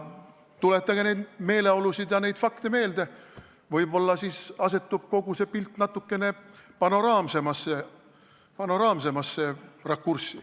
Tuletage neid meeleolusid ja neid fakte meelde, võib-olla siis asetub kogu pilt natukene panoraamsemasse rakurssi.